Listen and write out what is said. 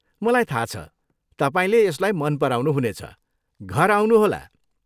मलाई थाहा छ, तपाईँले यसलाई मन पराउनु हुनेछ, घर आउनुहोला!